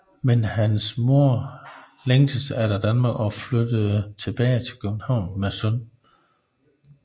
Men hans mor længtes efter Danmark og flyttede tilbage til København med sønnen